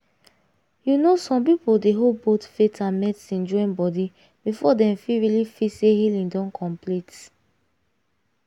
you know some people dey hold both faith and medicine join body before dem fit really feel say healing don complete.